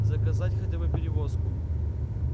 заказать хотя бы перевозку